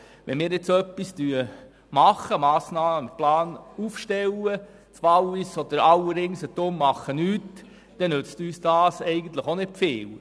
Wenn wir dergleichen machen und einen Massnahmenplan aufstellen, und das Wallis und alle anderen Kantone um uns herum tun nichts, dann nützt uns das eigentlich auch nicht viel.